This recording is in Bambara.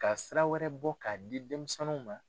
Ka sira wɛrɛ bɔ k'a di denmisɛnninw ma.